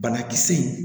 Banakisɛ in